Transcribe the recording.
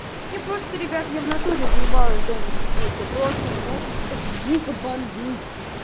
я просто ребят я в натуре заебалось дома сидеть я просто меня сейчас уже дико бомбит